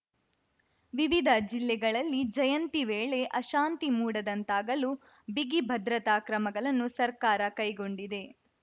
ವಿವಿಧ ಜಿಲ್ಲೆಗಳಲ್ಲಿ ಜಯಂತಿ ವೇಳೆ ಅಶಾಂತಿ ಮೂಡದಂತಾಗಲು ಬಿಗಿ ಭದ್ರತಾ ಕ್ರಮಗಳನ್ನೂ ಸರ್ಕಾರ ಕೈಗೊಂಡಿದೆ